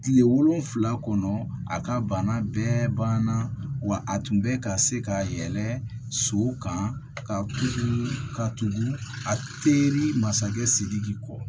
Kile wolonfila kɔnɔ a ka bana bɛɛ banna wa a tun bɛ ka se ka yɛlɛ so kan a teri masakɛ sidiki kɔ